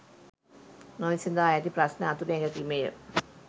නොවිසඳා ඇති ප්‍රශ්න අතුරෙන් එකකි මෙය